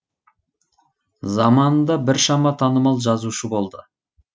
заманында біршама танымал жазушы болды